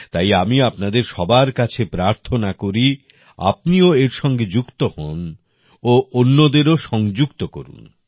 তাই আমি আপনাদের সবার কাছে প্রার্থনা করি আপনিও এর সঙ্গে যুক্ত হন ও অন্যদেরও সংযুক্ত করুন